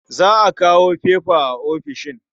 Za a kawo fefa a ofishin.